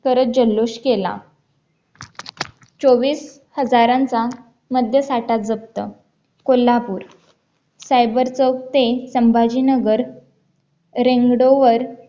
करत जल्लोष केला चोवीस हजारांचा मध्य साठा जप्त कोल्हापूर सायबर चौक ते संभाजीनगर परत रेंग road वर